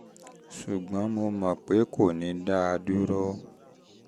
ṣùgbọ́n mo mọ̀ pé o pé o um kò ní dá a dúró